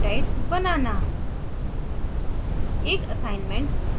dna अणु और peptides बनाना